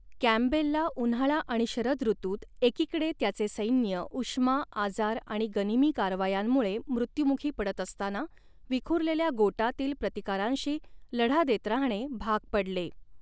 कँपबेलला उन्हाळा आणि शरद ऋतूत, एकीकडे त्याचे सैन्य उष्मा, आजार आणि गनिमी कारवायांमुळे मृत्युमुखी पडत असताना, विखुरलेल्या गोटांतील प्रतिकारांशी लढा देत राहणे भाग पडले.